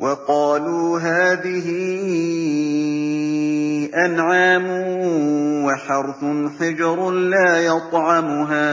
وَقَالُوا هَٰذِهِ أَنْعَامٌ وَحَرْثٌ حِجْرٌ لَّا يَطْعَمُهَا